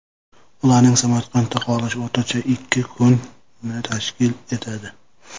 Ularning Samarqandda qolishi o‘rtacha ikki kunni tashkil etadi.